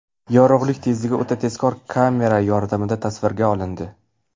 Yorug‘lik tezligi o‘ta tezkor kamera yordamida tasvirga olindi .